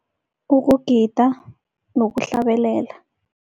Kukugida nokuhlabelela.